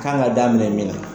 K'an ka daminɛ min na